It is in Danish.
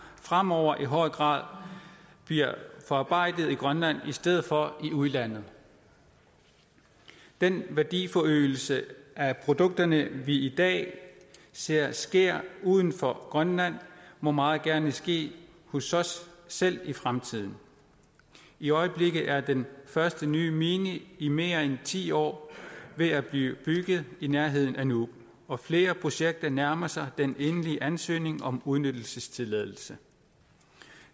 fremover i højere grad bliver forarbejdet i grønland i stedet for i udlandet den værdiforøgelse af produkterne vi i dag ser ske uden for grønland må meget gerne ske hos os selv i fremtiden i øjeblikket er den første nye mine i mere end ti år ved at blive bygget i nærheden af nuuk og flere projekter nærmer sig den endelige ansøgning om udnyttelsestilladelse